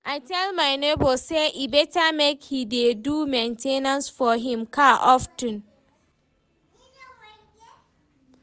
I tell my nebor say e better make he dey do main ten ance for him car of ten